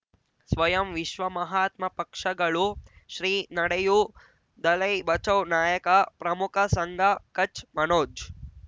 ಸ್ವಯಂ ವಿಶ್ವ ಮಹಾತ್ಮ ಪಕ್ಷಗಳು ಶ್ರೀ ನಡೆಯೂ ದಲೈ ಬಚೌ ನಾಯಕ ಪ್ರಮುಖ ಸಂಘ ಕಚ್ ಮನೋಜ್